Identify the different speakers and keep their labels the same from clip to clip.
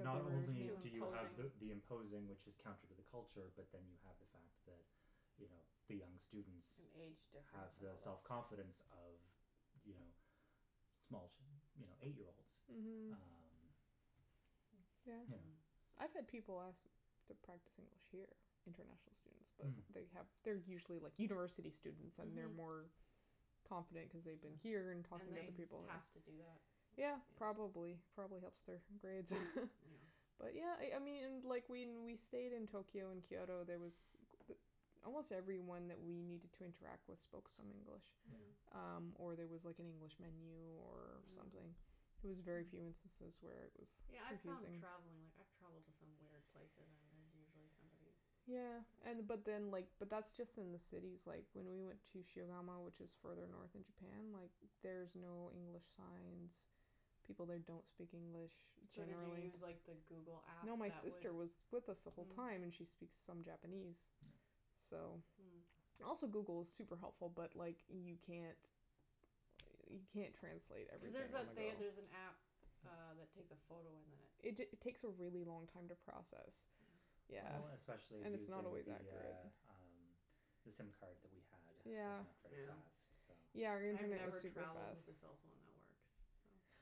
Speaker 1: Not only
Speaker 2: Too
Speaker 1: do you have the
Speaker 2: imposing.
Speaker 1: imposing, which is counter to the culture, but then you have the fact that, you know, the young students
Speaker 2: An age
Speaker 1: have
Speaker 2: difference and
Speaker 1: the self
Speaker 2: all that.
Speaker 1: confidence of, you know, small, you know, eight year olds.
Speaker 3: Mhm.
Speaker 1: Um, you know
Speaker 3: Yeah. I've had people ask to practice English here, international students, but
Speaker 1: Hm.
Speaker 3: they have they're usually, like, university students and they're
Speaker 2: Mhm.
Speaker 3: more confident cuz they've been here and talk
Speaker 2: And
Speaker 3: with
Speaker 2: they
Speaker 3: other people.
Speaker 2: have to do that.
Speaker 3: Yeah,
Speaker 2: Yeah.
Speaker 3: probably. It probably helps their grades
Speaker 2: Yeah.
Speaker 3: But yeah, I I mean, and like, when we stayed in Tokyo and Kyoto, there was almost everyone that we needed to interact with spoke some English.
Speaker 1: Yeah.
Speaker 3: Um, or there was like an
Speaker 2: Mm.
Speaker 3: English menu or something.
Speaker 2: Mm.
Speaker 3: It was very few instances where it was
Speaker 2: Yeah, I found
Speaker 3: confusing.
Speaker 2: travelling, like, I've travelled to some weird places and there's usually somebody
Speaker 3: Yeah, and but
Speaker 2: that.
Speaker 3: then, like, but that's just in the cities. Like, when we went to Shigamo, which is further north in Japan, like, there's no English signs. People there don't speak English
Speaker 2: So did you
Speaker 3: generally.
Speaker 2: use, like the Google app
Speaker 3: No, my
Speaker 2: that would
Speaker 3: sister was with us the whole
Speaker 2: Mm.
Speaker 3: time, and she speaks some Japanese,
Speaker 1: Yeah.
Speaker 3: so.
Speaker 2: Mm.
Speaker 3: Also, Google is super helpful, but like, you can't you can't translate
Speaker 2: Cuz there's
Speaker 3: everything on
Speaker 2: that
Speaker 3: the
Speaker 2: they there's
Speaker 3: go.
Speaker 2: an app uh that takes a photo and then it
Speaker 3: It ta- takes a really long time to process.
Speaker 2: Yeah.
Speaker 3: Yeah.
Speaker 1: Well, especially
Speaker 3: And it's not
Speaker 1: using
Speaker 3: always
Speaker 1: the,
Speaker 3: accurate.
Speaker 1: uh, um, the sim card that we had was not very
Speaker 3: Yeah.
Speaker 2: Yeah.
Speaker 1: fast, so
Speaker 3: Yeah, our
Speaker 2: I've
Speaker 3: internet was
Speaker 2: never
Speaker 3: super
Speaker 2: travelled
Speaker 3: fast.
Speaker 2: with the cell phone networks,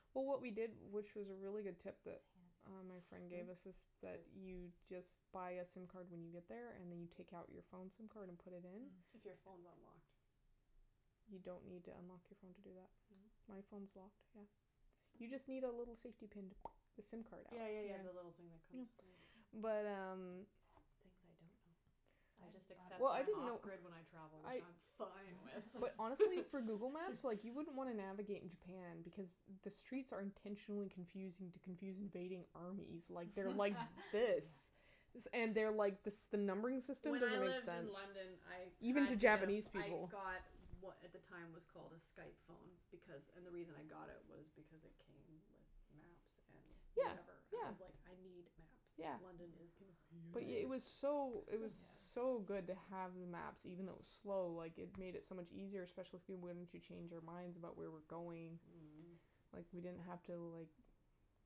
Speaker 2: so.
Speaker 3: Well, what we did, which is a really good tip that uh my friend gave
Speaker 2: Mm?
Speaker 3: us is that you just but a sim card when you get there and then you take out your phone sim card and put it in.
Speaker 2: If your phone's unlocked.
Speaker 3: You don't need to unlock your phone to do that.
Speaker 2: Mm?
Speaker 3: My phone's locked, yeah. You just need a
Speaker 2: Hm.
Speaker 3: little safety pin to the sim card out.
Speaker 2: Yeah, yeah, yeah, the little thing that comes. Yeah.
Speaker 3: Yeah. But um
Speaker 2: Things I don't know. I just accept
Speaker 3: Well, I
Speaker 2: that I'm
Speaker 3: didn't
Speaker 2: off
Speaker 3: know.
Speaker 2: grid when I travel,
Speaker 3: I
Speaker 2: which I'm fine with.
Speaker 3: But honestly, for Google Maps, like, you wouldn't wanna navigate in Japan because the streets are intentionally confusing to confuse invading armies. Like, they're like this. And they're like, this the numbering system
Speaker 2: When I
Speaker 3: doesn't make
Speaker 2: lived
Speaker 3: sense.
Speaker 2: in London I
Speaker 3: Even to
Speaker 2: had to get,
Speaker 3: Japanese
Speaker 2: I
Speaker 3: people.
Speaker 2: got what at the time was called a Skype phone because, and the reason I got it was because it came with maps and
Speaker 3: Yeah,
Speaker 2: whatever. I
Speaker 3: yeah,
Speaker 2: was like, I need
Speaker 3: yeah.
Speaker 2: maps. London is
Speaker 3: But
Speaker 1: Oh, yeah.
Speaker 3: it
Speaker 2: confusing.
Speaker 3: was
Speaker 4: Oh,
Speaker 3: so it was
Speaker 4: yeah.
Speaker 3: so good to have the maps. Even though it was slow, like, it made it so much easier, especially once you change your minds about where we're going.
Speaker 2: Mhm.
Speaker 3: Like, we didn't have to, like,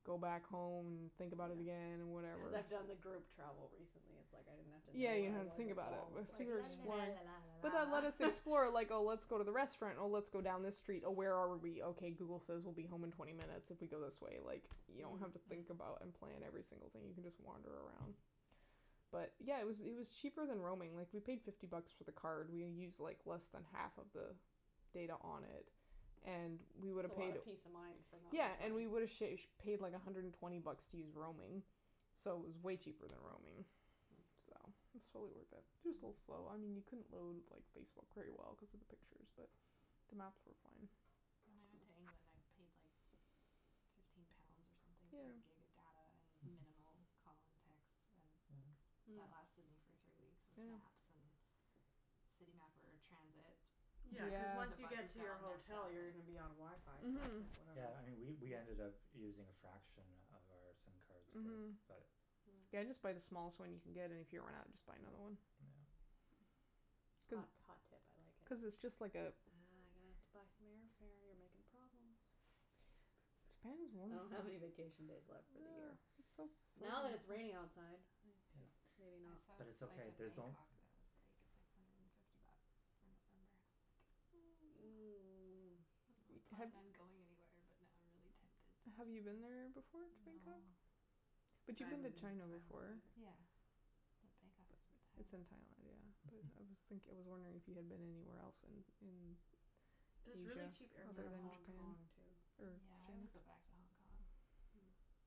Speaker 3: go back home and think about it again and
Speaker 2: Yeah.
Speaker 3: whatever.
Speaker 2: Cuz I've done the group travel recently. It's like, I didn't have to
Speaker 3: Yeah,
Speaker 2: know
Speaker 3: you
Speaker 2: where
Speaker 3: don't
Speaker 2: I
Speaker 3: have to
Speaker 2: was
Speaker 3: think
Speaker 2: at
Speaker 3: about
Speaker 2: all. I was like la la la la la
Speaker 3: it. But then
Speaker 2: la
Speaker 3: let us
Speaker 2: la
Speaker 3: explore, like, oh, let's go to the restaurant, or let's go down this street, oh, where are we? Okay Google says we'll be home in twenty minutes if we go this way, like, you don't have to think
Speaker 2: Mm.
Speaker 3: about and plan every single thing. You can just wander around. But, yeah, it was it was cheaper than roaming. Like, we paid fifty bucks for the card. We used like less than half of the data on it and we would
Speaker 2: It's a
Speaker 3: have
Speaker 2: lot
Speaker 3: paid
Speaker 2: of peace of mind for not
Speaker 3: Yeah,
Speaker 2: much
Speaker 3: and we
Speaker 2: money.
Speaker 3: would have sha- paid like a hundred and twenty bucks to use roaming, so it was way cheaper than roaming,
Speaker 2: Mm.
Speaker 3: so it's totally worth it. Just a little slow. I mean, you couldn't load, like, Facebook very well cuz of the pictures, but the maps were fine.
Speaker 4: When I went to England, I paid like fifteen pounds or something
Speaker 3: Yeah.
Speaker 4: for a gig of data and
Speaker 1: Mhm.
Speaker 4: minimal call and text and
Speaker 1: Yeah.
Speaker 2: Mm.
Speaker 4: that lasted me for three weeks with
Speaker 3: Yeah.
Speaker 4: maps, and City Mapper, transit.
Speaker 2: Yeah, cuz
Speaker 4: Sometimes the
Speaker 2: once you
Speaker 3: Yeah.
Speaker 2: get
Speaker 4: buses
Speaker 2: to
Speaker 4: got
Speaker 2: your
Speaker 4: all messed
Speaker 2: hotel
Speaker 4: up,
Speaker 2: you're gonna
Speaker 4: but
Speaker 2: be on WiFi, so it's like
Speaker 3: Mhm.
Speaker 2: whatever.
Speaker 1: Yeah, and we we ended up using a fraction of our sim cards with
Speaker 3: Mhm.
Speaker 1: that.
Speaker 2: Mm.
Speaker 3: Yeah, just buy the smallest one you can get, and if you run out just buy another one.
Speaker 1: Yeah.
Speaker 3: Cuz
Speaker 2: Hot, hot tip, I like
Speaker 3: cuz it's
Speaker 2: it.
Speaker 3: just like a
Speaker 2: Ah, I'm gonna have to buy some airfare. You're making problems.
Speaker 3: His parents
Speaker 2: I don't have any vacation days left for the year.
Speaker 3: It's so
Speaker 2: Now that
Speaker 3: so
Speaker 2: it's raining outside.
Speaker 1: Yeah,
Speaker 4: Maybe not. I saw
Speaker 1: but
Speaker 4: a
Speaker 1: it's
Speaker 4: flight
Speaker 1: okay,
Speaker 4: to
Speaker 1: there's
Speaker 4: Bangkok that was like six hundred and fifty bucks for November and I was like I wasn't really planning on going anywhere, but now I'm really tempted.
Speaker 3: Have you been there before, to
Speaker 4: No.
Speaker 3: Bangkok?
Speaker 2: I
Speaker 3: But you've
Speaker 2: haven't
Speaker 3: been to
Speaker 2: been to Thailand
Speaker 3: China before.
Speaker 2: either.
Speaker 4: Yeah. But Bangkok is
Speaker 3: It's
Speaker 4: in
Speaker 3: in
Speaker 4: Thailand.
Speaker 3: Thailand, yeah, but I was thinking, I was wondering if you had been anywhere else in in
Speaker 2: There's really
Speaker 3: Asia
Speaker 2: cheap air fare to Hong Kong, too.
Speaker 4: Yeah, I would go back to Hong Kong.
Speaker 2: Mm.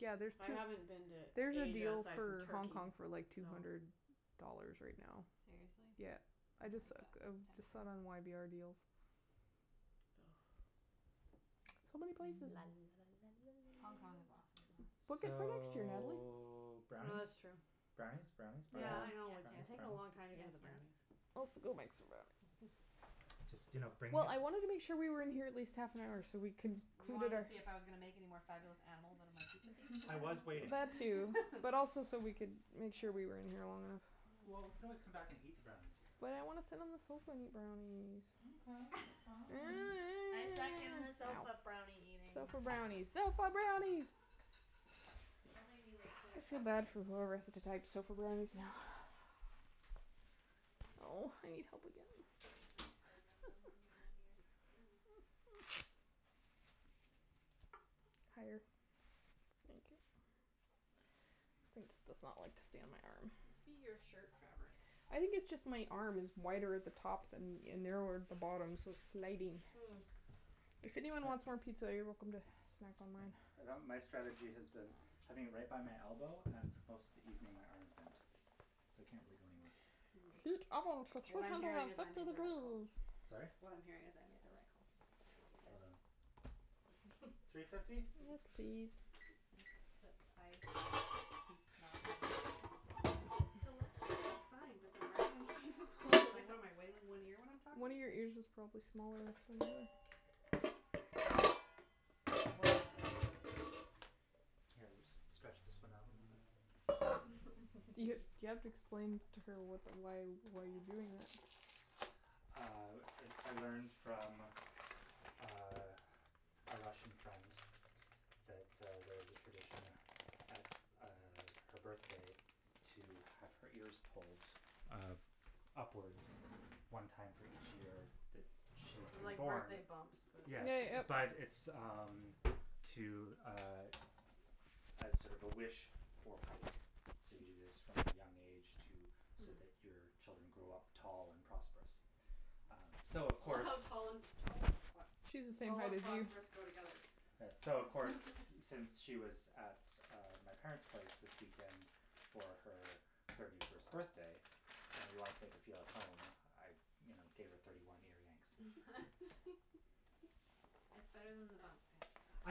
Speaker 3: Yeah, there's
Speaker 2: I
Speaker 3: to
Speaker 2: haven't been to
Speaker 3: There's a
Speaker 2: Asia
Speaker 3: deal
Speaker 2: aside from
Speaker 3: for Hong
Speaker 2: Turkey,
Speaker 3: Kong for, like, two
Speaker 2: so.
Speaker 3: hundred dollars right now.
Speaker 4: Seriously?
Speaker 3: Yeah.
Speaker 4: I
Speaker 3: I
Speaker 4: like
Speaker 3: just
Speaker 4: it.
Speaker 3: I
Speaker 4: That's
Speaker 3: just saw it
Speaker 4: tempting.
Speaker 3: on y b r deals. So many places.
Speaker 2: La la la la la.
Speaker 4: Hong Kong is awesome, though.
Speaker 3: Book it for next year, Natalie.
Speaker 1: So,
Speaker 2: Oh, that's
Speaker 1: brownies?
Speaker 2: true.
Speaker 1: Brownies, brownies, brownies,
Speaker 2: Yeah, I
Speaker 4: Yes,
Speaker 2: know. It's
Speaker 1: brownies,
Speaker 4: yes,
Speaker 2: taking a
Speaker 1: brownies?
Speaker 2: long
Speaker 4: yes,
Speaker 2: time to get to the
Speaker 4: yes.
Speaker 2: brownies.
Speaker 3: go make some brownies.
Speaker 1: Just, you know, bring
Speaker 3: Well,
Speaker 1: this.
Speaker 3: I wanted to make sure we were in here at least half an hour so we can
Speaker 2: You wanted to see if I was gonna make any more fabulous animals out of my pizza piece?
Speaker 1: I was waiting.
Speaker 3: That too, but also so we could make sure we were in here long enough.
Speaker 1: Well, we could always come back and eat the brownies here.
Speaker 3: But I want to sit on the sofa and eat brownies.
Speaker 1: Okay, fine.
Speaker 2: I second the sofa brownie eating.
Speaker 3: Sofa brownies, sofa brownies!
Speaker 2: Just don't make me, like, pull
Speaker 3: I
Speaker 2: it
Speaker 3: feel
Speaker 2: out of
Speaker 3: bad
Speaker 2: the
Speaker 3: for
Speaker 2: sofa
Speaker 3: whoever has
Speaker 2: cushion
Speaker 3: to
Speaker 2: cuz
Speaker 3: type
Speaker 2: that's
Speaker 3: sofa
Speaker 2: not what I
Speaker 3: brownies
Speaker 2: wanna
Speaker 3: now.
Speaker 2: do.
Speaker 4: I need to, like,
Speaker 3: Oh, I
Speaker 4: bobby
Speaker 3: need
Speaker 4: pin
Speaker 3: help
Speaker 4: this
Speaker 3: again.
Speaker 4: microphone to my head rather than having it in my ear.
Speaker 2: Mm.
Speaker 3: Higher. Thank you. This thing just does not like to stay on my arm.
Speaker 2: It must be your shirt fabric.
Speaker 3: I think it's just my arm is wider at the top than and narrower at the bottom so it's sliding.
Speaker 2: Mm.
Speaker 3: If anyone wants more pizza, you're welcome to snack on mine.
Speaker 1: my strategy has been having it right by my elbow and most of the evening my arm is bent, so it can't really go anywhere.
Speaker 2: Mm.
Speaker 3: Heat oven to three
Speaker 2: What I'm
Speaker 3: hundred
Speaker 2: hearing
Speaker 3: and
Speaker 2: is I
Speaker 3: fifty
Speaker 2: made the right call.
Speaker 3: degrees.
Speaker 1: Sorry?
Speaker 2: What I'm hearing is I made the right call.
Speaker 4: I think you did.
Speaker 1: Well done. Three
Speaker 2: Except
Speaker 1: fifty?
Speaker 3: Yes, please.
Speaker 2: I keep not having using
Speaker 4: The left one is fine, but the right one keeps falling.
Speaker 2: in one ear when I'm talking?
Speaker 3: One of your ears is probably smaller
Speaker 1: Here, we'll just stretch this one out a little bit.
Speaker 3: You you have to explain to her what why why you're doing that.
Speaker 1: Uh, I I learned from uh a Russian friend that uh there's a tradition at uh her birthday to have her ears pulled uh upwards one time for each year that she's
Speaker 2: Like
Speaker 1: born.
Speaker 2: birthday bumps but
Speaker 1: Yes, but it's, um, to, uh, as sort of a wish for height. So, you do this from a young age to so that your children
Speaker 4: Mm.
Speaker 1: grow up tall and prosperous. Um so of
Speaker 2: I love
Speaker 1: course
Speaker 2: how tall and tall? That's hot.
Speaker 3: She's the same
Speaker 2: Tall
Speaker 3: height
Speaker 2: and
Speaker 3: as you.
Speaker 2: prosperous go together.
Speaker 1: So, of course, since she was at uh my parents' place this weekend for her thirty first birthday and we wanted to make her feel at home, I you know, gave her thirty one ear yanks.
Speaker 4: That's better than the bumps, I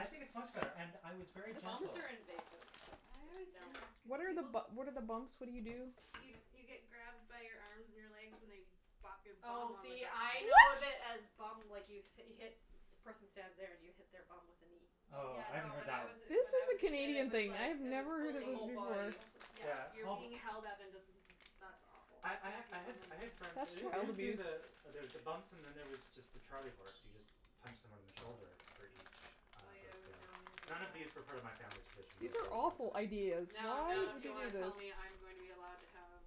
Speaker 4: have to say.
Speaker 1: think it's much better, and I was very
Speaker 2: Bumps
Speaker 1: gentle.
Speaker 2: are invasive. That's
Speaker 4: I always
Speaker 2: just no.
Speaker 4: hated
Speaker 3: What
Speaker 4: because
Speaker 3: are,
Speaker 4: people
Speaker 3: what are the bumps? What do you do?
Speaker 4: You you get grabbed by your arms and your legs and they bop your bum
Speaker 2: Oh,
Speaker 4: on the
Speaker 2: see, I know
Speaker 4: ground.
Speaker 2: it as
Speaker 3: What?
Speaker 2: bum, like, you hit, the person stands there and you hit their bum with a knee.
Speaker 4: Oh,
Speaker 1: Oh,
Speaker 4: yeah,
Speaker 1: I haven't
Speaker 4: no,
Speaker 1: heard
Speaker 4: when
Speaker 1: that
Speaker 4: I was
Speaker 1: one.
Speaker 3: This
Speaker 4: when
Speaker 3: is
Speaker 4: I was
Speaker 3: a
Speaker 4: a kid it
Speaker 3: Canadian
Speaker 4: was
Speaker 3: thing. I
Speaker 4: like,
Speaker 3: have
Speaker 4: it was
Speaker 3: never heard
Speaker 2: The
Speaker 3: of
Speaker 4: fully
Speaker 3: this
Speaker 2: whole
Speaker 3: before.
Speaker 2: body.
Speaker 4: Oh, yeah,
Speaker 1: Yeah
Speaker 4: you're being held up and just
Speaker 2: That's awful.
Speaker 1: I I ha- I had I had friends, they don't they don't do the there's the bumps and then there was just the charlie horse; you just punch someone in the shoulder for each uh
Speaker 4: Oh, yeah, I
Speaker 1: birthday.
Speaker 4: remember we would do
Speaker 1: None of these
Speaker 4: that.
Speaker 1: refer to my family's traditions
Speaker 3: These are awful
Speaker 4: Yeah.
Speaker 3: ideas.
Speaker 2: Now,
Speaker 3: Why
Speaker 2: now, if
Speaker 3: would
Speaker 2: you
Speaker 3: you do
Speaker 2: want to
Speaker 3: this?
Speaker 2: tell me I'm going to be allowed to have,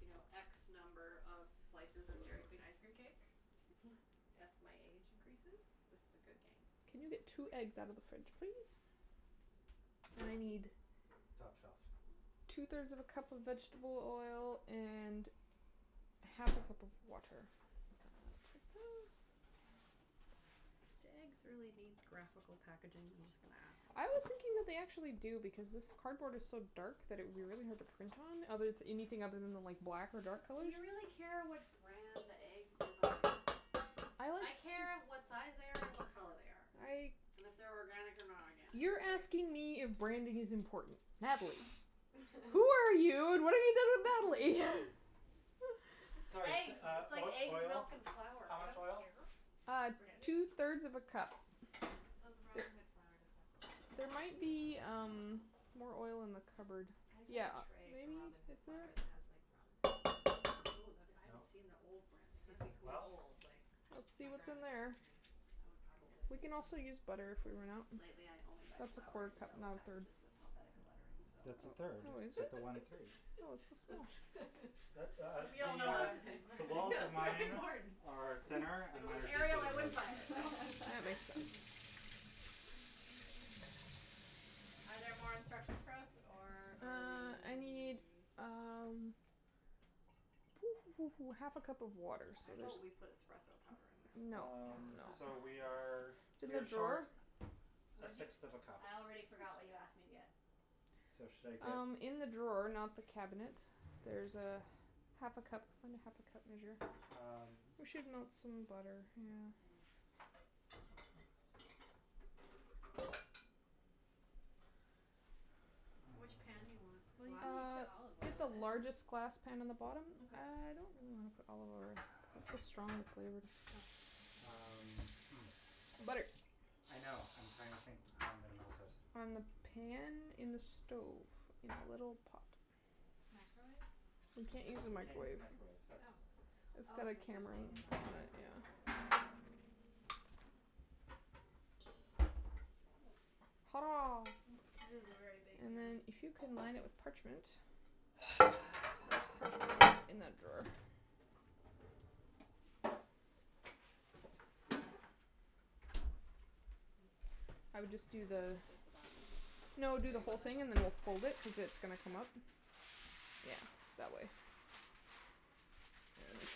Speaker 2: you know, x number of slices of Dairy Queen ice cream cake as my age increases, this is a good game.
Speaker 3: Can you get two eggs out of the fridge, please? I need
Speaker 1: Top shelf.
Speaker 3: Two
Speaker 2: Hm.
Speaker 3: thirds of a cup of vegetable oil and half a cup of water.
Speaker 2: Do eggs really need graphical packaging? I'm just gonna ask.
Speaker 3: I was thinking that they actually do because this cardboard is so dark that it would be really hard to print on, other anything other than the like black or dark
Speaker 2: Do
Speaker 3: colors.
Speaker 2: you really care what brand the eggs you're buying? I care what size they are and what color they are. And
Speaker 3: I.
Speaker 2: if they're organic or not organic.
Speaker 3: You're asking me if branding is important? Natalie. Who are you and what have you done with Natalie?
Speaker 1: Sorry,
Speaker 2: Eggs;
Speaker 1: uh,
Speaker 2: it's like
Speaker 1: uh,
Speaker 2: eggs,
Speaker 1: oil,
Speaker 2: milk and flour.
Speaker 1: how
Speaker 2: I don't
Speaker 1: much oil?
Speaker 2: care what brand it
Speaker 3: two
Speaker 2: is.
Speaker 3: thirds of a cup.
Speaker 4: Though the Robin Hood flour does have
Speaker 3: There
Speaker 4: some
Speaker 3: might be, um, more oil in
Speaker 2: Yeah.
Speaker 3: the cupboard.
Speaker 4: I have like
Speaker 3: Yeah,
Speaker 4: a tray from
Speaker 3: maybe.
Speaker 4: Robin
Speaker 3: Is
Speaker 4: Hood that
Speaker 3: there?
Speaker 4: it has like Robin Hood.
Speaker 2: Oh, that would, I haven't
Speaker 1: No.
Speaker 2: seen the old branding.
Speaker 4: It's ,
Speaker 2: That'd
Speaker 4: like,
Speaker 2: be
Speaker 1: Well?
Speaker 2: cool.
Speaker 4: old, like,
Speaker 3: Let's see
Speaker 4: my
Speaker 3: what's in
Speaker 4: grandma gave it
Speaker 3: there.
Speaker 4: to me.
Speaker 2: Oh
Speaker 4: It's probably
Speaker 2: it's
Speaker 4: like
Speaker 3: We can
Speaker 2: probably
Speaker 4: from
Speaker 3: also
Speaker 4: the
Speaker 3: use butter if we
Speaker 4: forties
Speaker 3: run
Speaker 4: or
Speaker 3: out.
Speaker 2: Lately
Speaker 4: something.
Speaker 2: I only buy
Speaker 3: That's a
Speaker 2: flour
Speaker 3: quarter
Speaker 2: in
Speaker 3: cup,
Speaker 2: yellow
Speaker 3: not a third.
Speaker 2: packages with Helvetica lettering, so.
Speaker 1: That's a third.
Speaker 3: Oh,
Speaker 1: It's
Speaker 3: is it?
Speaker 1: got the one three.
Speaker 3: Oh, it's so small.
Speaker 2: We all
Speaker 1: The,
Speaker 2: know what
Speaker 1: uh,
Speaker 2: I'm saying.
Speaker 1: the walls of
Speaker 2: That's very
Speaker 1: mine
Speaker 2: important.
Speaker 1: are thinner,
Speaker 2: If it
Speaker 1: and mine
Speaker 2: was
Speaker 1: are deeper
Speaker 2: Arial, I
Speaker 1: than
Speaker 2: wouldn't
Speaker 1: yours.
Speaker 2: buy it Are there more instructions for us, or are
Speaker 3: Uh, I need,
Speaker 2: we?
Speaker 3: um half a cup of water, so
Speaker 2: How
Speaker 3: there's.
Speaker 2: about we put espresso powder in there?
Speaker 3: No,
Speaker 1: Um,
Speaker 3: no.
Speaker 1: so we are
Speaker 4: Yes.
Speaker 1: we are short
Speaker 3: drawer?
Speaker 1: a
Speaker 2: What'd you?
Speaker 1: sixth of a cup.
Speaker 2: I already forgot what you asked me to get.
Speaker 1: So, should I get?
Speaker 3: Um, in the drawer, not the cabinet there's half a cup. Find a half a cup measure.
Speaker 1: Um.
Speaker 3: We should melt some butter, yeah.
Speaker 2: Which pan do you
Speaker 1: Uh
Speaker 2: want?
Speaker 4: Well, you
Speaker 2: Glass?
Speaker 4: can
Speaker 3: Uh,
Speaker 4: put olive
Speaker 3: get the
Speaker 4: oil in it.
Speaker 3: largest glass pan in the bottom. I don't want
Speaker 2: Okay.
Speaker 3: to put olive oil cuz it's so strong flavored.
Speaker 4: Oh.
Speaker 1: Um, hm.
Speaker 3: Butter.
Speaker 1: I know, I'm trying to think how I'm going to melt it.
Speaker 3: On the pan, in the stove, in a little pot.
Speaker 4: Microwave?
Speaker 3: We can't use the
Speaker 1: we can't use
Speaker 3: microwave.
Speaker 1: the microwave, that's
Speaker 4: Oh.
Speaker 3: It's
Speaker 4: Oh,
Speaker 3: got a
Speaker 4: cuz the
Speaker 3: camera
Speaker 4: thing is
Speaker 3: on it,
Speaker 4: on it.
Speaker 3: yeah. Hurrah.
Speaker 2: It is a very big
Speaker 3: And
Speaker 2: pan.
Speaker 3: then if you can line it with parchment.
Speaker 4: Where's
Speaker 3: There is
Speaker 4: the
Speaker 3: parchment in
Speaker 4: parchment?
Speaker 3: that drawer. I would just do the
Speaker 4: Just the bottom?
Speaker 3: No, do the whole thing and then we'll fold it cuz it's gonna come up. Yeah, that way. Yes.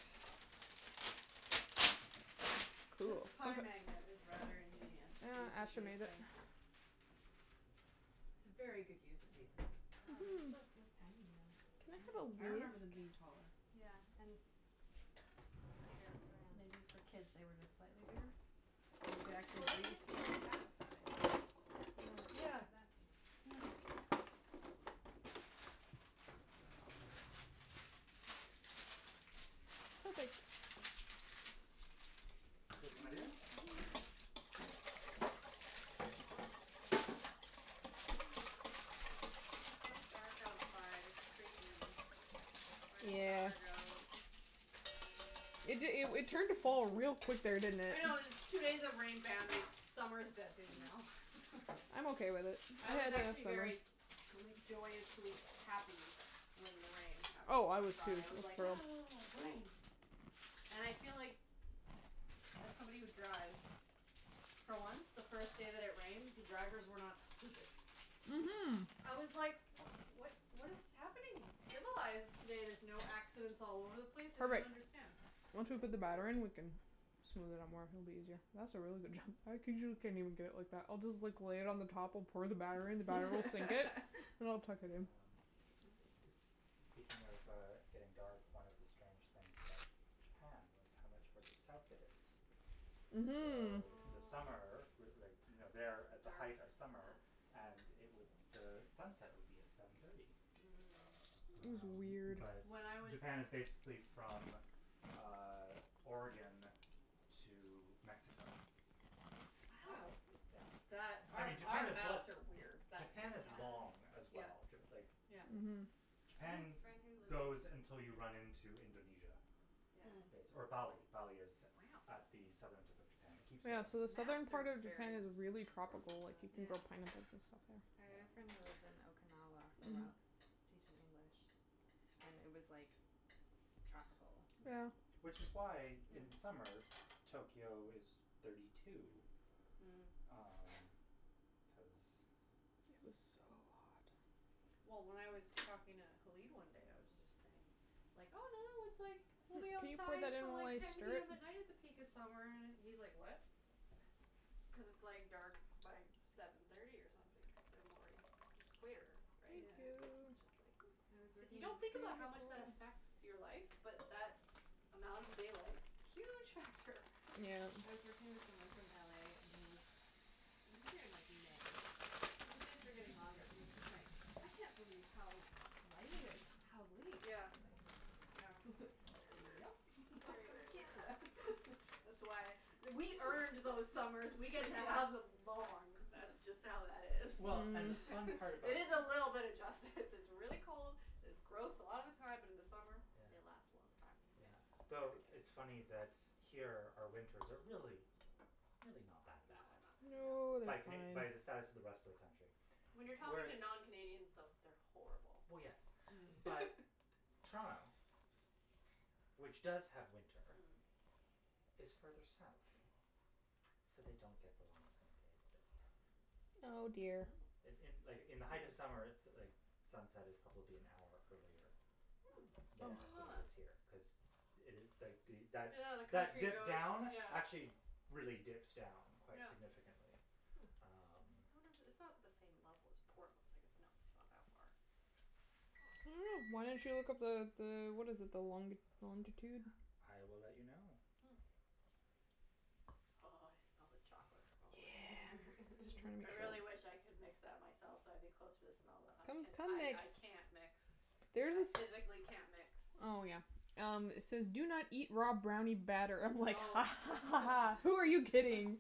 Speaker 2: This
Speaker 3: Cool.
Speaker 2: pie magnet is rather ingenious,
Speaker 3: Uh made it.
Speaker 2: things. It's a very good use of these things.
Speaker 4: Wow, they make
Speaker 3: Mhm.
Speaker 4: those things tiny now.
Speaker 3: Can I
Speaker 2: I
Speaker 3: have
Speaker 2: remember them
Speaker 3: a
Speaker 2: being
Speaker 3: whisk?
Speaker 2: taller.
Speaker 4: Yeah, and bigger around.
Speaker 2: Maybe for kids they were just slightly bigger? You could actually
Speaker 4: Well, they're
Speaker 2: breathe through
Speaker 4: usually,
Speaker 2: the
Speaker 4: like,
Speaker 2: middle.
Speaker 4: that size.
Speaker 2: Yeah, yeah, yeah.
Speaker 3: Perfect.
Speaker 1: my dear.
Speaker 2: It's so dark outside, it's creepy. Where did summer
Speaker 4: Yeah.
Speaker 2: go?
Speaker 3: It it it turned to fall real quick there, didn't it?
Speaker 2: I know, it's two days of rain, bam, summer's dead to me now.
Speaker 3: I'm okay with it
Speaker 2: I was actually very gr- joyously happy when the rain happened
Speaker 3: Oh, I
Speaker 2: on
Speaker 3: was, too,
Speaker 2: Friday. I
Speaker 3: I
Speaker 2: was
Speaker 3: was
Speaker 2: like,
Speaker 3: thrilled.
Speaker 2: "Ah, rain." And I feel like, as somebody who drives, for once, the first day that it rained, the drivers were not stupid.
Speaker 3: Mhm.
Speaker 2: I was like, what what what is happening? It's civilized today, there's no accidents all over the place, I don't
Speaker 3: Perfect.
Speaker 2: understand.
Speaker 3: Once we put the batter
Speaker 2: Weird.
Speaker 3: in, we can smooth it out more; it'll be easier. That's a really good job. I get it like that. I'll just like lay it on the top or pour the batter in, the batter will sink it and I'll tuck it in.
Speaker 1: Um, is speaking of uh getting dark, one of the strange things about Japan was how much further south it is.
Speaker 3: Mhm.
Speaker 1: So the summer, with like, you know
Speaker 2: Dark.
Speaker 1: they're at the height of summer and it would, sunset would be at seven thirty.
Speaker 2: Mm.
Speaker 3: It was
Speaker 1: Um,
Speaker 3: weird.
Speaker 1: but
Speaker 2: When I was
Speaker 1: Japan is basically from um Oregon to Mexico.
Speaker 2: Wow.
Speaker 1: Yeah.
Speaker 2: That
Speaker 1: I
Speaker 2: our
Speaker 1: mean, Japan
Speaker 2: our
Speaker 1: is
Speaker 2: maps are weird.
Speaker 1: Japan is long as
Speaker 2: Yeah,
Speaker 1: well. Like
Speaker 2: yeah.
Speaker 3: Mhm.
Speaker 1: Japan goes until you run into Indonesia
Speaker 2: Mm.
Speaker 1: base or
Speaker 2: Wow.
Speaker 1: Bali. Bali is at the southern tip of Japan. It keeps
Speaker 3: Yeah, so the southern
Speaker 2: Maps are
Speaker 3: part of
Speaker 2: very
Speaker 3: Japan is really
Speaker 2: poorly
Speaker 3: tropical, like, you
Speaker 2: designed.
Speaker 3: can grow
Speaker 4: Yeah.
Speaker 3: pineapples and stuff there.
Speaker 4: I had a friend who lived
Speaker 1: Yeah.
Speaker 4: in Okinawa for a
Speaker 3: Mhm.
Speaker 4: while cuz he was teaching English and it was like tropical.
Speaker 1: Yeah.
Speaker 3: Yeah.
Speaker 1: Which is why in
Speaker 2: Hm.
Speaker 1: summer, Tokyo is thirty two,
Speaker 2: Mm.
Speaker 1: um, cuz
Speaker 3: It was so hot.
Speaker 2: Well, when I was talking to Halib one day, I was just saying, like, oh, no, no, it's like we'll be outside till like ten PM at night at the peak of summer, and he's like, what? Cuz it's like dark by seven thirty or something cuz they're more e- equator, right?
Speaker 4: Yeah.
Speaker 2: It's
Speaker 3: Thank
Speaker 2: just like
Speaker 4: I was
Speaker 2: If you
Speaker 4: working in
Speaker 2: don't
Speaker 3: you.
Speaker 2: think about how much that affects your life but that amount of daylight, huge factor.
Speaker 4: I
Speaker 3: Yeah.
Speaker 4: was working with someone from LA and he was, he was here in, like, May, but the days were getting longer and he was just like, I can't believe how light it is how late.
Speaker 2: Yeah, yeah. Very weird.
Speaker 4: Yep,
Speaker 2: Very,
Speaker 4: welcome
Speaker 2: very
Speaker 4: to
Speaker 2: weird.
Speaker 4: Canada.
Speaker 2: That's why we earned those summers. We get to have them long, that's just how that is.
Speaker 1: Well, and the
Speaker 3: Mm.
Speaker 1: fun part about
Speaker 2: It is a little bit of justice. This is really cold, it's gross a lotta time, but in the summer
Speaker 1: Yeah.
Speaker 2: they last a long time.
Speaker 1: Yeah.
Speaker 4: Yes.
Speaker 1: The it's funny that here our winters are really, really not that
Speaker 2: No,
Speaker 1: bad.
Speaker 2: not that bad.
Speaker 3: No,
Speaker 4: No.
Speaker 1: By Cana-
Speaker 3: they're ,
Speaker 1: by the
Speaker 3: fine.
Speaker 1: status of the rest of the country,
Speaker 2: When you're talking
Speaker 1: whereas
Speaker 2: to non Canadians, though, they're horrible.
Speaker 1: Well, yes,
Speaker 4: Mm.
Speaker 1: but Toronto, which does have winter,
Speaker 2: Mm.
Speaker 1: is further south, so they don't get the long summer days that we have.
Speaker 3: Oh, dear.
Speaker 1: In
Speaker 2: Wow.
Speaker 1: in like, in the height of summer, so like the sunset is probably an hour earlier
Speaker 2: Hm, I
Speaker 1: there
Speaker 2: didn't
Speaker 1: than
Speaker 2: know
Speaker 1: it
Speaker 2: that.
Speaker 1: is here.
Speaker 4: Hm.
Speaker 1: Cuz
Speaker 2: Yeah, the country goes,
Speaker 1: down,
Speaker 2: yeah.
Speaker 1: actually really dips down quite
Speaker 2: Yeah.
Speaker 1: significantly, um.
Speaker 2: I
Speaker 4: Hm.
Speaker 2: wonder if it, it's not the same level as Portland. Like it not
Speaker 3: I don't know. Why don't you look up the the, what is it, the long- the longitude?
Speaker 1: I will let you know.
Speaker 2: Hm. Oh, I smell the chocolate from over
Speaker 3: Yeah,
Speaker 2: here.
Speaker 3: just trying to make
Speaker 2: I
Speaker 3: sure.
Speaker 2: really wish I could mix that myself so I'd be closer to smell that.
Speaker 3: Come, come
Speaker 2: I
Speaker 3: mix.
Speaker 2: I can't mix.
Speaker 3: There's
Speaker 2: I
Speaker 3: this.
Speaker 2: physically can't mix.
Speaker 3: Oh, yeah. Um, it says do not eat raw brownie batter. I'm like a
Speaker 2: Oh.
Speaker 3: ha ha ha, who are you kidding?